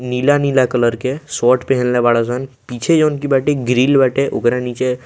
नीला-नीला कलर के शर्ट पहनले बाड़ेसन पीछे जोन की बाटे ग्रिल बाटे ओकरा नीचे --